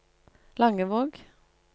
Langevåg